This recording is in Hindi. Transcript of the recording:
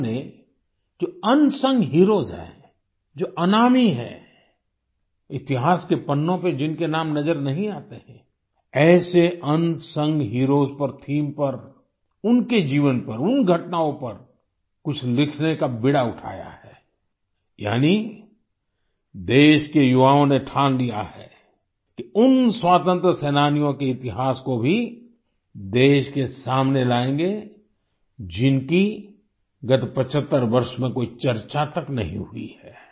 उन्होंने जो अनसंग हीरोज हैं जो अनामी हैं इतिहास के पन्नो में जिनके नाम नज़र नहीं आते हैं ऐसे अनसंग हीरोज पर थीम पर उनके जीवन पर उन घटनाओं पर कुछ लिखने का बीड़ा उठाया है यानि देश के युवाओं ने ठान लिया है उन स्वतंत्रता सेनानियों के इतिहास को भी देश के सामने लाएंगे जिनकी गत् 75 वर्ष में कोई चर्चा तक नहीं हुई है